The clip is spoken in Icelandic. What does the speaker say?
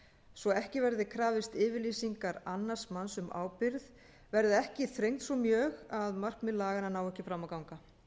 svo ekki verði krafist yfirlýsingar annars manns um ábyrgð verði ekki þrengd svo mjög að markmið laganna nái ekki fram að ganga